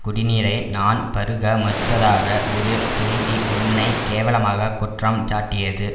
குடிநீரை நான் பருக மறுத்ததாக ஒரு செய்தி என்னை கேவலமாக குற்றம் சாட்டியது